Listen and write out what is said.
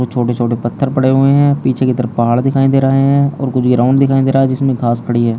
छोटे छोटे पत्थर पड़े हुए हैं पीछे की तरफ पहाड़ दिखाई दे रहे हैं और कुछ ग्राउंड दिखाई दे रहा है जिसमें घास खड़ी है।